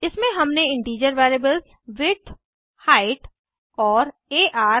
इसमें हमने integer variables width height और आर